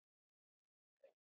Við verðum að finna hann.